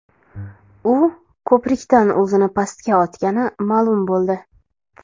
U ko‘prikdan o‘zini pastga otgani ma’lum bo‘ldi.